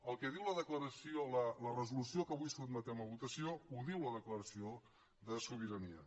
el que diu la resolució que avui sotmetem a votació ho diu la declaració de sobirania